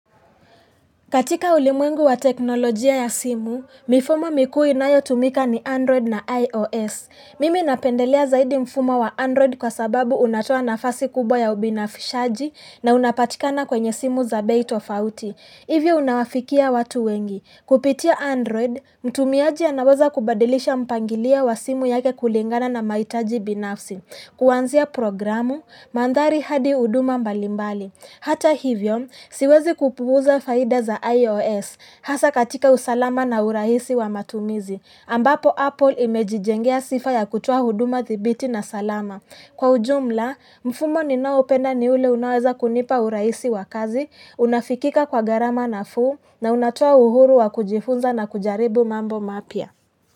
Katika ulimwengu wa teknolojia ya simu, mifumo mikuu inayo tumika ni Android na iOS. Mimi napendelea zaidi mfumo wa Android kwa sababu unatoa na fasi kubwa ya ubinafishaji na unapatikana kwenye simu za bait of out. Hivyo unawafikia watu wengi. Kupitia Android, mtumiaji anawaza kubadilisha mpangilia wa simu yake kulingana na maitaji binafsi. Kuwanzia programu, mandhari hadi huduma mbalimbali. Hata hivyo, siwezi kupuuza faida za iOS. Hasa katika usalama na urahisi wa matumizi. Ambapo Apple imejijengea sifa ya kutua huduma thibiti na salama. Kwa ujumla, mfumo ninaopenda ni ule unaweza kunipa uraisi wakazi, unafikika kwa garama na fuu, na unatua uhuru wa kujifunza na kujaribu mambo mapia.